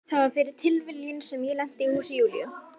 Það var fyrir tilviljun sem ég lenti í húsi Júlíu.